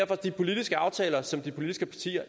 er de politiske aftaler som de politiske partier